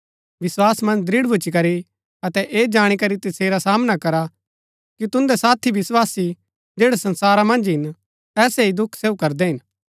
विस्‍वासा मन्ज दृढ़ भूच्ची करी अतै ऐह जाणी करी तसेरा सामना करा कि तुन्दै साथी विस्वासी जैड़ै संसारा मन्ज हिन ऐसै ही दुख सहू करदै हिन